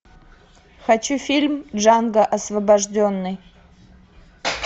хочу фильм джанго освобожденный